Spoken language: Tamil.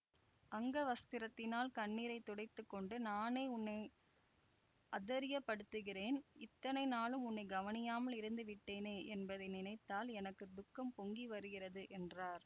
அங்கவஸ்திரத்தினால் கண்ணீரை துடைத்து கொண்டு நானே உன்னை அதைரியப்படுத்துகிறேன் இத்தனை நாளும் உன்னை கவனியாமல் இருந்து விட்டேனே என்பதை நினைத்தால் எனக்கு துக்கம் பொங்கி வருகிறது என்றார்